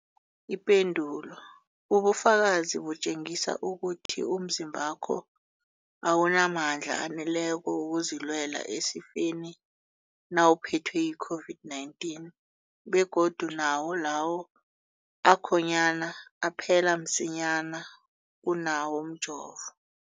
Ipendulo, ubufakazi butjengisa ukuthi umzimbakho awunamandla aneleko wokuzilwela esifeni nawuphethwe yi-COVID-19, begodu nawo lawo akhonyana aphela msinyana kunawomjovo.